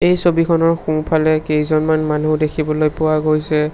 এই ছবিখনৰ সোঁফালে কেইজনমান মানুহ দেখিবলৈ পোৱা গৈছে।